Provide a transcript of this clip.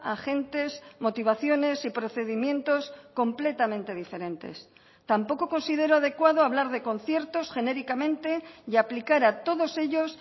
agentes motivaciones y procedimientos completamente diferentes tampoco considero adecuado hablar de conciertos genéricamente y aplicar a todos ellos